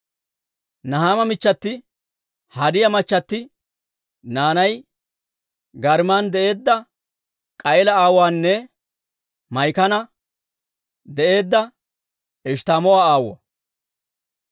Nahaama michchati, Hodiyaa machati naanay Gaariman de'eedda K'a'iila aawuwaanne Maa'ikan de'eedda Eshttamoo'a aawuwaa.